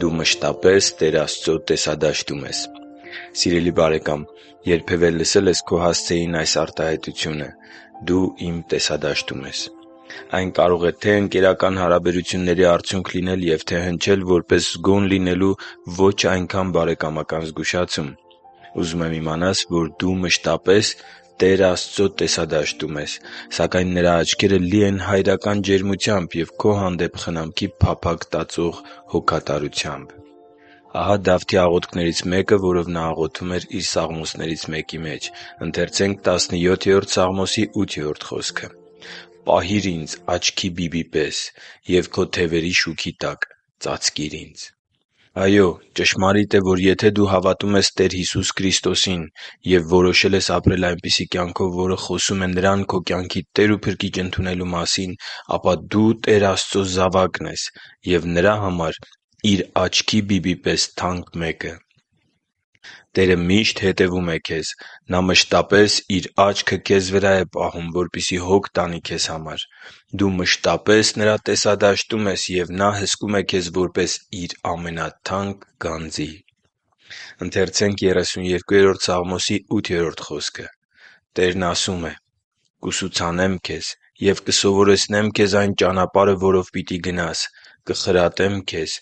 Դու մշտապես Տեր Աստծո տեսադաշտում ես Սիրելի՛ բարեկամ, երբևէ լսե՞լ ես քո հասցեին այս արտահայտությունը․ «Դու իմ տեսադաշտում ես․․․»։ Այն կարող է թե՛ ընկերական հարաբերությունների արդյունք լինել և թե՛ հնչել որպես զգոն լինելու ոչ այնքան բարեկամական զգուշացում։ Ուզում եմ իմանաս, որ դու մշտապես Տեր Աստծո տեսադաշտում ես։ Սակայն Նրա աչքերը լի են հայրական ջերմությամբ և քո հանդեպ խնամքի փափագ տածող հոգատարությամբ։ Ահա Դավթի աղոթքներից մեկը, որով նա աղոթում է իր սաղմոսներից մեկի մեջ․ «Պահի՛ր ինձ աչքի բբի պես և Քո թևերի շուքի տակ ծածկի՛ր ինձ» (Սաղմոս 17․8)։ Այո՛, ճշմարիտ է, որ եթե դու հավատում ես Տեր Հիսուս Քրիստոսին և որոշել ես ապրել այնպիսի կյանքով, որը խոսում է Նրան քո կյանքի Տեր ու Փրկիչ ընդունելու մասին, ապա դու Տեր Աստծու զավակն ես և Նրա համար Իր աչքի բիբի պես թանկ մեկն ես։ Տերը միշտ հետևում է քեզ։ Նա մշտապես Իր աչքը քեզ վրա է պահում, որպեսզի հոգ տանի քեզ համար: Դու մշտապես Նրա տեսադաշտում ես, և Նա հսկում է քեզ որպես Իր ամենաթանկ գանձի: «Տերն ասում է․ «Կուսուցանեմ քեզ և կսովորեցնեմ քեզ այն ճանապարհը, որով պիտի գնաս. կխրատեմ քեզ,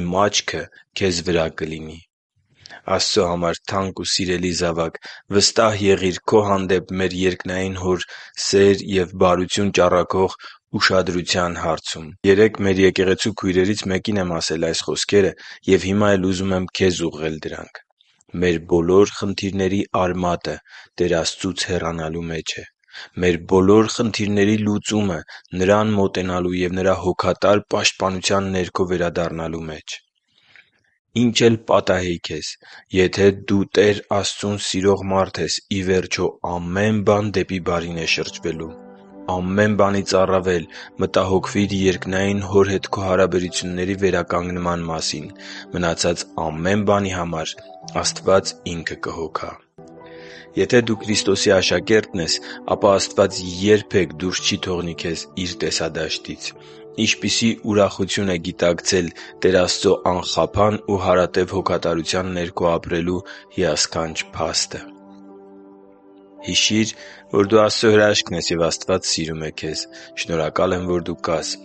Իմ աչքը քեզ վրա կլինի» (Սաղմոս 32.8)։ Աստծո համար թանկ ու սիրելի՛ զավակ, վստահ եղիր քո հանդեպ մեր երկնային Հոր սեր և բարություն ճառագող ուշադրության հարցում։ Երեկ մեր եկեղեցու քույրերից մեկին եմ ասել այս խոսքերը և հիմա էլ ուզում եմ քեզ ուղղել դրանք․ «Մեր բոլոր խնդիրների արմատը Տեր Աստծուց հեռանալու մեջ է։ Մեր բոլոր խնդիրների լուծումը՝ Նրան մոտենալու և Նրա հոգատար պաշտպանության ներքո վերադառնալու մեջ։ Ինչ էլ պատահի քեզ հետ․․․, եթե դու Տեր Աստծուն սիրող մարդ ես, ի վերջո, ամեն բան դեպի բարին է շրջվելու։ Ամեն բանից առավել, մտահոգվի՛ր երկնային Հոր հետ քո հարաբերությունների վերականգնման մասին։ Մնացած ամեն բանի համար Աստված Ինքը կհոգա»։ Եթե դու Քրիստոսի աշակերտն ես, ապա Աստված քեզ երբե՛ք դուրս չի թողնի Իր տեսադաշտից։ Ինչպիսի՜ ուրախություն է գիտակցել Տեր Աստծո անխափան ու հարատև հոգատարության ներքո ապրելու հիասքանչ փաստը․․․ Հիշի՛ր, որ դու Աստծո հրաշքն ես, և Աստված սիրում է քեզ։ Շնորհակալ եմ, որ դու կա՛ս